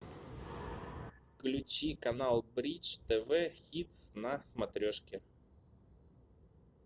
включи канал бридж тв хитс на смотрешке